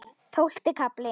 Tólfti kafli